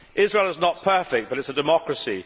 Israel is not perfect, but it is a democracy.